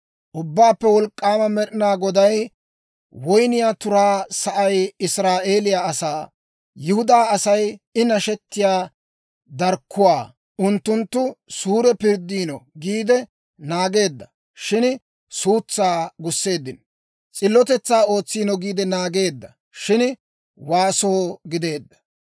Ubbaappe Wolk'k'aama Med'inaa Goday, woyniyaa turaa sa'ay Israa'eeliyaa asaa. Yihudaa Asay I nashettiyaa darkkuwaa. Unttunttu suure pirddiino giide naageedda; shin suutsaa gusseeddino. S'illotetsaa ootsiino giide naageedda; shin waaso gideedda.